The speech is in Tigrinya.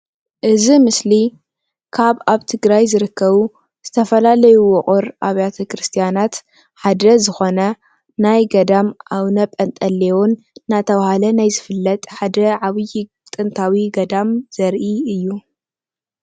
እዚ ኣብ ምስሊ ካብ ኣብ ትግራይ ዝርከቡ ዝተፈለለዩ ውቅር ኣብያተ ቤተ ክርስትያናት ሓደ ዝኮነ ናይ ገዳም ኣቡነ ጴንጦሌን እንዳተባሃለ ናይ ዝፍለጥ ሓደ ዓብይ ንጥታዊ ገዳም ዘርኢ እዩ፡፡